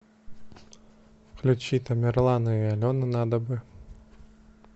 включи тамерлана и алену надо бы